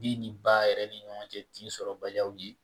Den ni ba yɛrɛ ni ɲɔgɔn cɛ tin sɔrɔbaliyaw ye